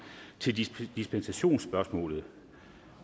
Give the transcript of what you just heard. til dispensationsspørgsmålet